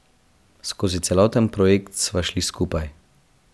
Skozi celoten projekt sva šli skupaj.